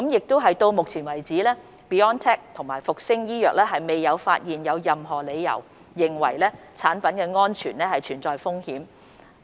到目前為止 ，BioNTech 和復星醫藥未有發現任何理由認為產品安全存在風險。